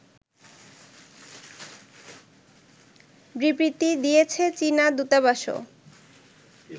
বিবৃতি দিয়েছে চীনা দূতাবাসও